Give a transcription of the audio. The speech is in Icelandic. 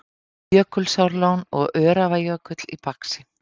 Jökulsárlón og Öræfajökull í baksýn.